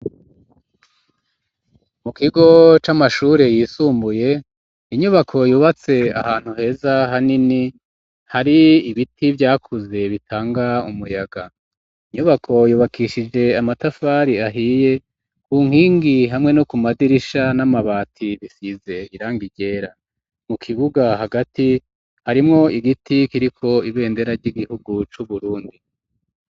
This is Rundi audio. Mu kigo c'amashure yisumbuye inyubako yubatse ahantu heza hanini hari ibiti vyakuze bitanga umuyaga inyubako yubakishije amatafari ahiye ku nkingi hamwe no ku madirisha n'amabati bisize irangi ryera mu kibuga hagati harimwo igiti kiriko ibendera ry'igihugu cu Burundi